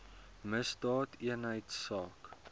misdaadeenheidsaak